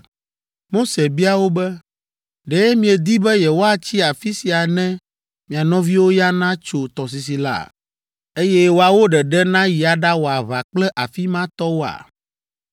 Mose bia wo be, “Ɖe miedi be yewoatsi afi sia ne mia nɔviwo ya natso tɔsisi la, eye woawo ɖeɖe nayi aɖawɔ aʋa kple afi ma tɔwoa?